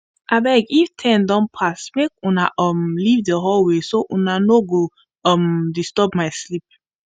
abeg if ten don pass make unna um leave the hallway so unna no go disturb um my sleep